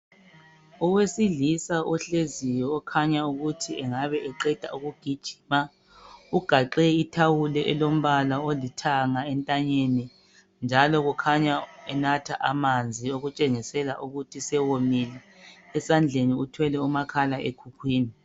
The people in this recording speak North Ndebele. Owesilisa ohleziyo okhanya ukuthi engabe eqeda ukugjjima, ugaxe ithawulo elombala olithanga entanyeni njalo ukhanya enatha amanzi okutshengisa ukuthi engabe esewomile, esandleni uthwele umakhalekhukhwini